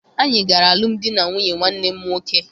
Anyị gara alụmdi na nwunye nwanne m nwoke.